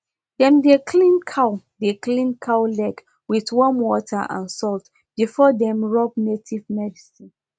dem dey clean cow dey clean cow leg wit warm water and salt before dem rub native medicine